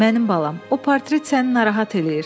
Mənim balam, o portret səni narahat eləyir.